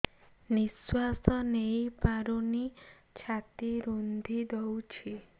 ନିଶ୍ୱାସ ନେଇପାରୁନି ଛାତି ରୁନ୍ଧି ଦଉଛି